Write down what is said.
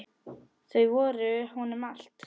Þau voru honum allt.